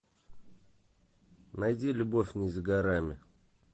найди любовь не за горами